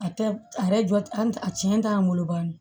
A tɛ a yɛrɛ jɔ an tiɲɛn t'an bolo dɔɔnin